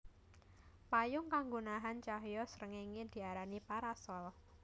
Payung kanggo nahan cahya srengéngé diarani parasol